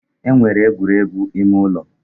E nwere egwuregwu ime ụlọ